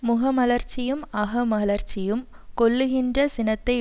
முகமலர்ச்சியும் அகமலர்ச்சியும் கொல்லுகின்ற சினத்தை